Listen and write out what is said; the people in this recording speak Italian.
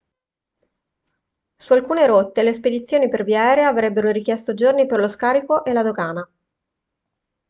su alcune rotte le spedizioni per via aerea avrebbero richiesto giorni per lo scarico e la dogana